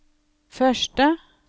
første